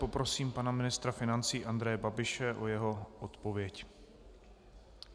Poprosím pana ministra financí Andreje Babiše o jeho odpověď.